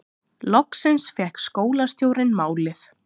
Loksins fékk skólastjórinn málið